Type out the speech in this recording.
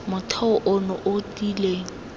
motheo ono o o tiileng